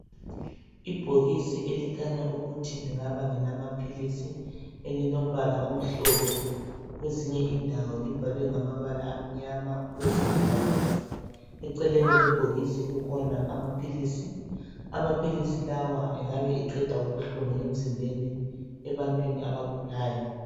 Ibhokisi elikhanya ukuthi lingaba ngelamaphilisi elilombala omhlophe kwezinye indawo libhalwe ngamabala amnyama kwezinye ngabomvu. Eceleni kwebhokisi kukhona amaphilisi. Amaphilisi lawa engabe eqeda ubuhlungu mzimbeni ebantwini abagulayo.